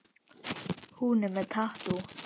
Hún er með tattú.